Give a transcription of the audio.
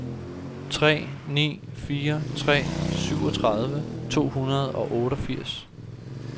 tre ni fire tre syvogtredive to hundrede og otteogfirs